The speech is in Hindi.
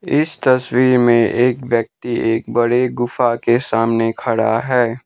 इस तस्वीर में एक व्यक्ति एक बड़े गुफा के सामने खड़ा है।